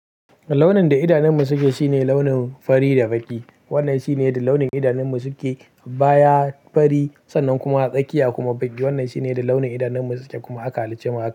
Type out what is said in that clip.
Launin da idaninmu suke shine launin fari da baƙi. Wannan shine launin da idanunmu suke, baya fari sannan kuma tsakiya kuma baƙi. Wannan shine launin da idanunmu suke kuma aka halicce mu haka.